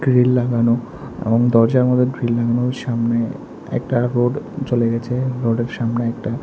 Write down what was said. grill লাগানো এবং দরজার মধ্যে গ্রিল লাগানো সামনে একটা হোড চলে গেছে রোডের সামনে একটা--